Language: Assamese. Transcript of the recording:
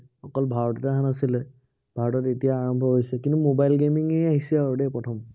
ভাৰতত এতিয়া আৰম্ভ হৈছে। কিন্তু mobile gaming এই আহিছে আৰু দেই প্ৰথম।